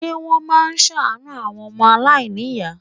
Ṣé wọ́n máa ṣàánú àwọn ọmọ aláìníyàá?